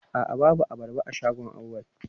A'a babu abarba a shagon Auwal.